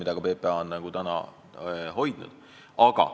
Seda lähenemist on ka PPA hoidnud.